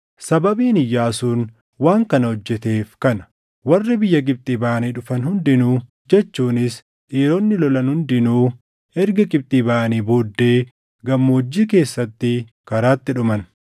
Sababiin Iyyaasuun waan kana hojjeteef kana: Warri biyya Gibxii baʼanii dhufan hundinuu jechuunis dhiironni lolan hundinuu erga Gibxii baʼanii booddee gammoojjii keessatti karaatti dhuman.